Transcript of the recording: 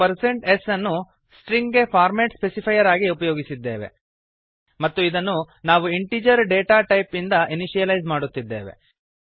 ಏಕೆಂದರೆ ನಾವು percent S ಅನ್ನು ಸ್ಟ್ರಿಂಗ್ ಗೆ ಫಾರ್ಮ್ಯಾಟ್ ಸ್ಪೆಸಿಫೈರ್ ಆಗಿ ಉಪಯೋಗಿಸಿದ್ದೇವೆ ಮತ್ತು ಇದನ್ನು ನಾವು ಇಂಟಿಜರ್ ಡೇಟಾ ಟೈಪ್ ಇಂದ ಇನಿಶಿಯಲೈಸ್ ಮಾಡುತ್ತಿದ್ದೇವೆ